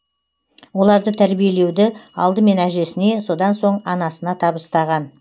оларды тәрбиелеуді алдымен әжесіне содан соң анасына табыстаған